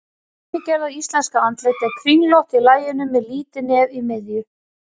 Hið dæmigerða íslenska andlit er kringlótt í laginu með lítið nef í miðju.